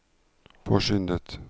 påskyndet